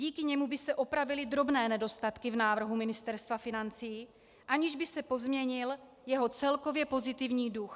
Díky němu by se opravily drobné nedostatky v návrhu Ministerstva financí, aniž by se pozměnil jeho celkově pozitivní duch.